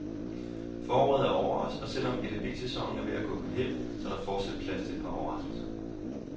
Foråret er over os og selv om edbsæsonen er ved at gå på hæld, så er der fortsat plads til et par overraskelser.